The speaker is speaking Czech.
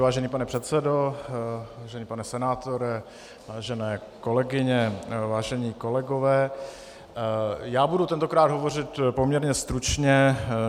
Vážený pane předsedo, vážený pane senátore, vážené kolegyně, vážení kolegové, já budu tentokrát hovořit poměrně stručně.